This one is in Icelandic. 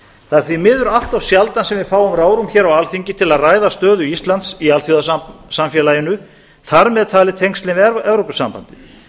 það er því miður allt of sjaldan sem við fáum ráðrúm hér á alþingi til að ræða stöðu íslands í alþjóðasamfélaginu þar með talin tengslin við evrópusambandið